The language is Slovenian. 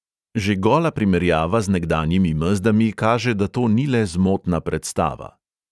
Že gola primerjava z nekdanjimi mezdami kaže, da to ni le zmotna predstava.